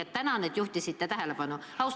Aga tänan, et juhtisite tähelepanu!